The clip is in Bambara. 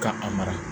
Ka a mara